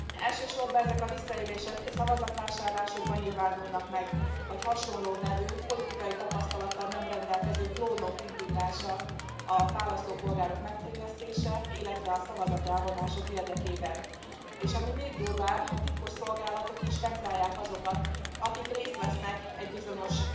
Elsősorban ezek a visszaélések szavazatvásárlásokban nyilvánulnak meg, vagy hasonló nevű, politikai tapasztalattal nem rendelkező klónok indítása a választópolgárok megtévesztése, illetve a szavazat elvonások érdekében, és ami még durvább a titkosszolgálatok is vegzálják azokat, akik részt vesznek egy bizonyos